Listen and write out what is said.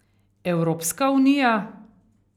Evropska unija?